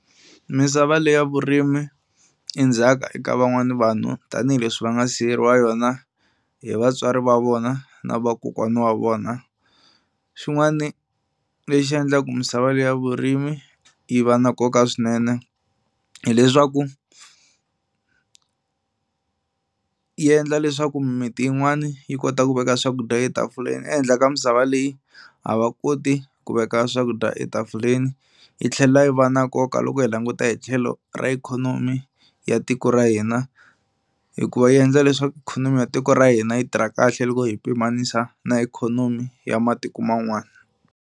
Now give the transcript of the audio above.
Misava leya vurimi i ndzhaka eka van'wana vanhu tanihileswi va nga siyeriwa yona hi vatswari va vona na vakokwana wa vona. Xin'wana lexi endlaku misava leyi ya vurimi yi va na nkoka swinene hileswaku yi endla leswaku mimiti yin'wani yi kota ku veka swakudya etafuleni e handle ka misava leyi a va koti ku veka swakudya etafuleni. Yi tlhela yi va na nkoka loko hi languta hi tlhelo ra ikhonomi ya tiko ra hina hikuva yi endla leswaku ikhonomi ya tiko ra hina yi tirha kahle loko hi pimanisa na ikhonomi ya matiko man'wana.